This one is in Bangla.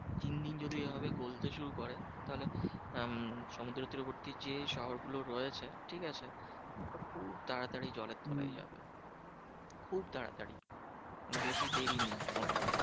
দিন দিন যদি ঐভাবে গলতে শুরু করে তাহলে উম সমুদ্রের তীরবর্তী যে শহরগুলো রয়েছে, ঠিকাছে? ওটা খুব তাড়াতাড়ি জলের তলায় যাবে। খুব তাড়াতাড়ি কেন বেশি দেরি নেই ওতে।